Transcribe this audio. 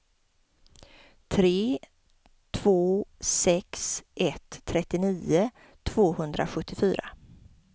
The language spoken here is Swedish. tre två sex ett trettionio tvåhundrasjuttiofyra